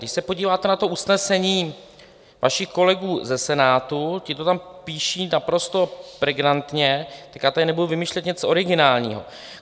Když se podíváte na to usnesení vašich kolegů ze Senátu, ti to tam píší naprosto pregnantně, tak já tady nebudu vymýšlet něco originálního.